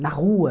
na rua.